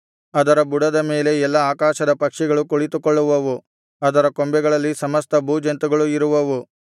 ಅದರ ಬುಡದ ಮೇಲೆ ಎಲ್ಲಾ ಆಕಾಶದ ಪಕ್ಷಿಗಳು ಕುಳಿತುಕೊಳ್ಳುವವು ಅದರ ಕೊಂಬೆಗಳಲ್ಲಿ ಸಮಸ್ತ ಭೂಜಂತುಗಳು ಇರುವವು